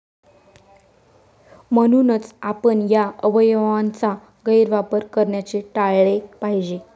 म्हणूनच, आपण या अवयवयांचा गैरवापर करण्याचे टाळले पाहिजे.